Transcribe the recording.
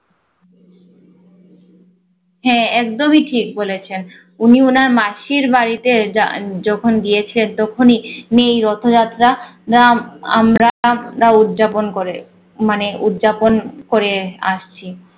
হ্যাঁ একদমই ঠিক বলেছেন। উনি ওনার মাসির বাড়িতে যান~ যখন গিয়েছিলেন তখনই তিনি এই রথযাত্রা যা আমরা উদযাপন করে মানে উদযাপন করে আসছি